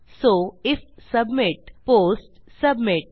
so if submit post submit